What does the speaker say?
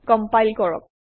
compile কৰক